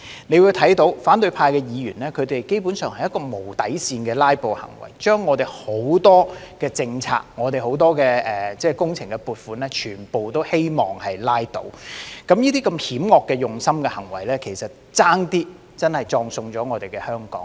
大家會看到，反對派議員基本上是無底線的"拉布"行為，把我們很多政策及工程撥款全都希望拉倒，這些如此用心險惡的行為險些葬送了香港。